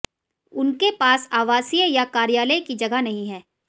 उनके पास आवासीय या कार्यालय की जगह नहीं है